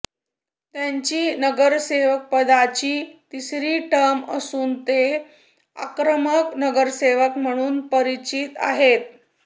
त्यांची नगरसेवकपदाची तिसरी टर्म असून ते आक्रमक नगरसेवक म्हणून परिचित आहेत